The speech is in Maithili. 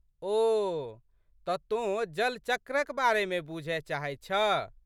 ओह! तऽ तोँ जलचक्रक बारेमे बूझए चाहैत छह?